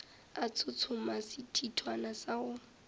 a tshotshoma sethithwana sa go